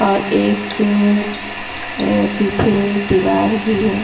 और एक अ पीछे एक दीवार भी है।